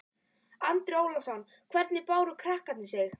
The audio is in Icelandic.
Andri Ólafsson: Hvernig báru krakkarnir sig?